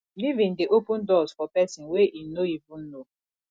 giving dey open doors for pesin wey im no even know